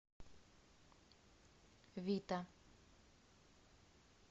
вита